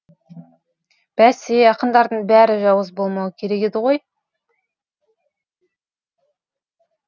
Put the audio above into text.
бәсе ақындардың бәрі жауыз болмауы керек еді ғой